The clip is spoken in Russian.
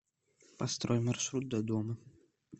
построй маршрут до дома